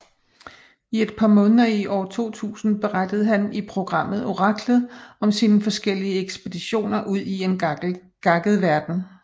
I et par måneder i år 2000 berettede han i programmet Oraklet om sine forskellige ekspeditioner udi en gakket verden